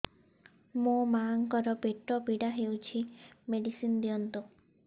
ମୋ ମାଆଙ୍କର ପେଟ ପୀଡା ହଉଛି ମେଡିସିନ ଦିଅନ୍ତୁ